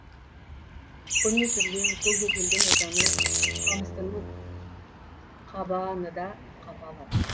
көне сүрлеу көкжөтелдің отаны қамыстының қаба а ны да қапалы